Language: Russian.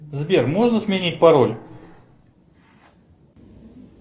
сбер можно сменить пароль